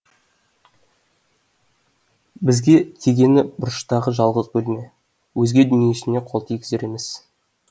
бізге тигені бұрыштағы жалғыз бөлме өзге дүниесіне қол тигізер емес